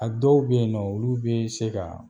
A dɔw bɛ yen nɔ olu bɛ yen se ka